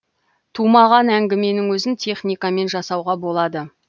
тумаған әңгіменің өзін техникамен жасауға болады